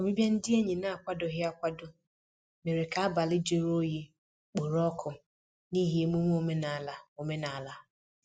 Ọbịbịa ndị enyi n'akwadoghị akwado mèrè ka abalị jụrụ oyi kporo ọkụ n'ihi emume omenala omenala.